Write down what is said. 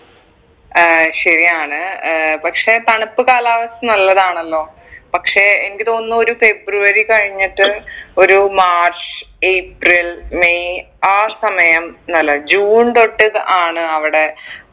ഏർ ശരിയാണ് ഏർ പക്ഷെ തണുപ്പ് കാലാവസ്ഥ നല്ലതാണല്ലോ പക്ഷെ എനിക്ക് തോന്നുന്നു ഒരു ഫെബ്രുവരി കഴിഞ്ഞിട്ട് ഒരു മാർച്ച് ഏപ്രിൽ മെയ് ആ സമയം നല്ലതാ ജൂൺ തൊട്ട് ആണ് അവിടെ